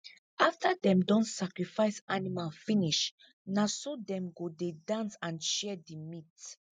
afta them don sacrifice animal finish na so them go dey dance and share the meat